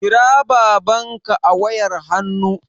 Kira babanka a wayar hannu